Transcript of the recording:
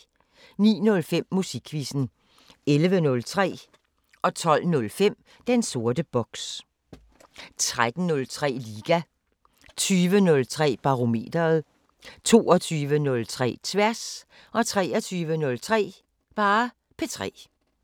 09:05: Musikquizzen 11:03: Den sorte boks 12:05: Den sorte boks 13:03: Liga 20:03: Barometeret 22:03: Tværs 23:03: P3